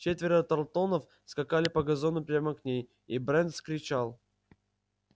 четверо тарлтонов скакали по газону прямо к ней и брент кричал